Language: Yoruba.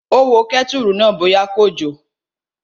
Ó wo kẹ́tùrù náà bóyá kò jò